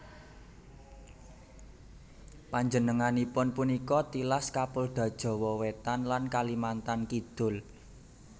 Panjenenganipun punika tilas Kapolda Jawa Wétan lan Kalimantan Kidul